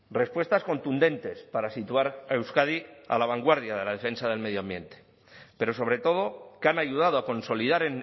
respuestas contundentes para situar a euskadi a la vanguardia de la defensa del medioambiente pero sobre todo que han ayudado a consolidar